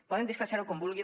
poden disfressar ho com vulguin